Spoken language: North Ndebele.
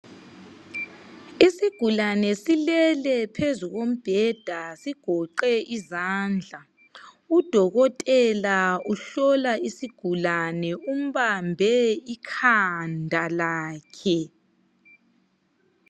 Isigulane silele phezu kombheda sigoqe izandla udokotela uhlola isigulane umbambe ikhanda lakhe.